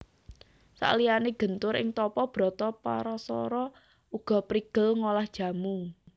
Saliyané gentur ing tapa brata Parasara uga prigel ngolah jamu